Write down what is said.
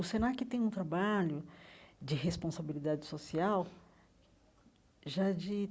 O Senac tem um trabalho de responsabilidade social já de